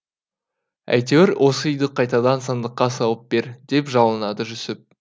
әйтеуір осы үйді қайтадан сандыққа салып бер деп жалынады жүсіп